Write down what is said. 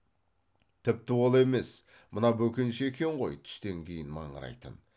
тіпті ол емес мына бөкенші екен ғой түстен кейін маңырайтын